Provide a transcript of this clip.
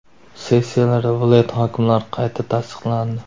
Sessiyalarda viloyat hokimlari qayta tasdiqlandi.